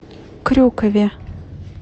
крюкове